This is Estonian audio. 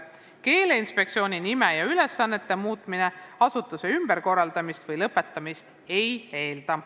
Keeleinspektsiooni nime ja ülesannete muutmine asutuse tegevuse ümberkorraldamist või lõpetamist ei eelda.